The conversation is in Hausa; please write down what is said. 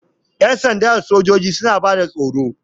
Ƴan sanda da sojoji suna bada tsaro.